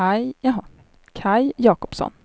Kaj Jacobsson